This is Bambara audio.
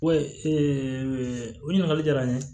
o ɲininkali jara n ye